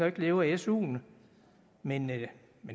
ikke leve af suen men